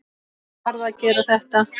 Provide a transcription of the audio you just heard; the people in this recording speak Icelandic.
Hann varð að gera þetta.